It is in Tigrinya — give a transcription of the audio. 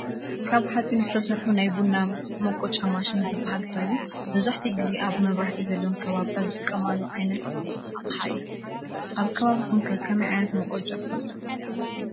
ካብ ሓፂን ዝተሰርሐ ናይ ቡና መቆጫ ማሽን ዝብሃል ኮይኑ መብዛሕቲኡ ግዜ ኣብ መብራህቲ ዘለወን ከባቢታት ዝጥቀማሉ ዓይነት ኣቕሓ እዩ። ኣብ ከባቢኩም ከ ከመይ ዓይነት መቆጫ ትፈልጡ ?